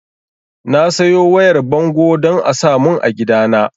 Na sayo wayar bango don a samun a gidana